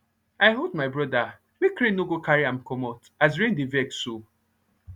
i hold my brother make rain no go carry am commot as rain dey vex so